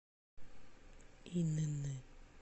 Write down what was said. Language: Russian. инн